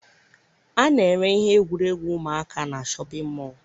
A na-ere ihe egwuregwu ụmụaka na shọpịn mọọ.